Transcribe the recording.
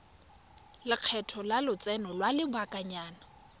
lekgetho la lotseno lwa lobakanyana